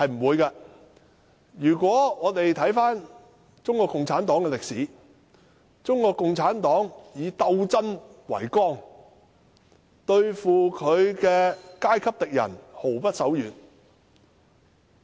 回顧中國共產黨的歷史，中國共產黨以鬥爭為綱，對付其階級敵人毫不手軟。